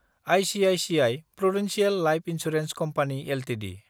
ICICI Prudential Life Insurance Company Ltd